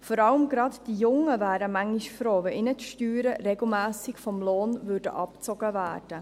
Vor allem die Jungen wären manchmal froh, wenn ihnen die Steuern regelmässig vom Lohn abgezogen würden.